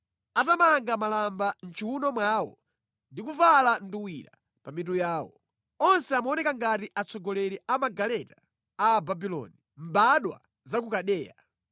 atamanga malamba mʼchiwuno mwawo ndi kuvala nduwira pa mitu yawo. Onse amaoneka ngati atsogoleri a magaleta a Ababuloni, mbadwa za ku Kaldeya.